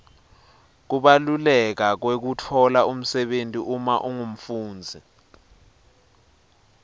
kubaluleka kwekutfola umsebenti uma ungumfundzi